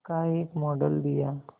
का एक मॉडल दिया